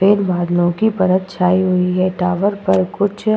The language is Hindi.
सफेद बादलों की परत छाई हुई है टावर पर कुछ --